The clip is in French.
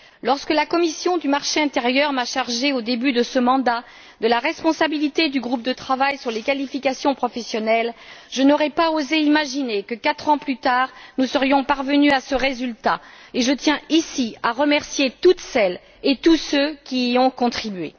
Lorsque la commission du marché intérieur m'a chargée, au début de ce mandat, de la responsabilité du groupe de travail sur les qualifications professionnelles, je n'aurais pas osé imaginer que quatre ans plus tard, nous serions parvenus à ce résultat, et je tiens ici à remercier toutes celles et tous ceux qui y ont contribué.